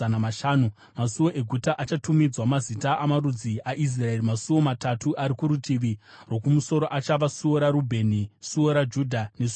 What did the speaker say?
masuo eguta achatumidzwa mazita amarudzi aIsraeri. Masuo matatu ari kurutivi rwokumusoro achava suo raRubheni, suo raJudha nesuo raRevhi.